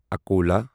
Akola